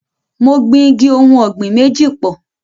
Mo gbin igi ohùn ọ̀gbìn méjì pọ̀.